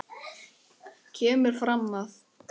kemur fram að